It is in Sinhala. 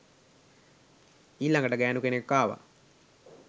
ඊලඟට ගෑනු කෙනෙක් ආව